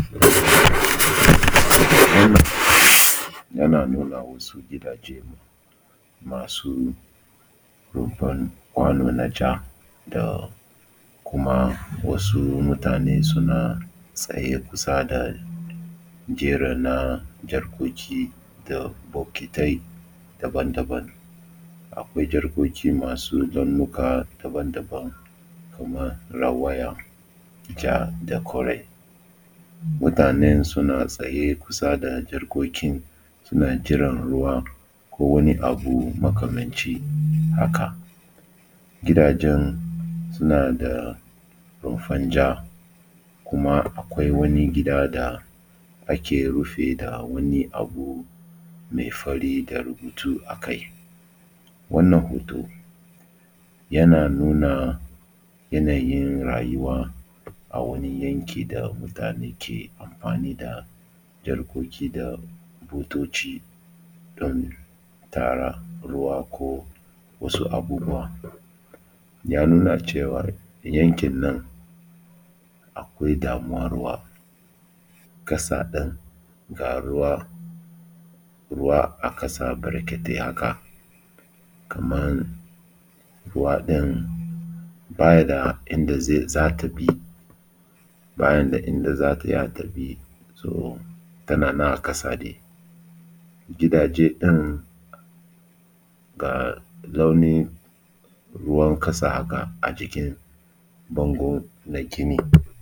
Wannan yana nuna wasu gidaje masu rumfar kwano na ja da kuma wasu mutane suna tsaye kusa da jeri na jarkoki da bokitai daban-daban. Akwai jarkoki masu launuka daban-daban kamar rawaya, ja, da kore. Mutanen suna tsaye kusa da jarkoki suna jiran ruwa ko wani abu makamancin haka. Gidajen suna da rumfar ja kuma akwai wani gida da aka rufe da wani abu mai fari da rubutu a kai. Wannan hoto yana nuna yanayin rayuwa a wani yanki da mutane ke amfani da jarkoki da butoci don tara ruwa ko wasu abubuwa. Ya nuna cewa yankin nan akwai damuwan ruwa, ƙasa ɗin ga ruwa, ruwa a ƙasa barkatai haka kamar ruwa ɗin baya da inda zai za ta bi, ba inda za ta iya ta bi, toh tana nan a ƙasa ɗin. Gidaje ɗin ga launin ruwan ƙasa haka a jikin bango na gini.